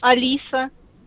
алиса